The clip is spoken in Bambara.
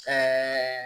Ɛɛ